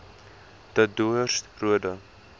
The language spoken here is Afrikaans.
de doorns roode